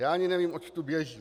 Já ani nevím, oč tu běží.